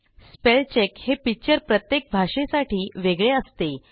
spell check हे feature प्रत्येक भाषेसाठी वेगळे असते